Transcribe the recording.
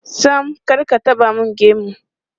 Sam, kar ka taɓa mun gemu.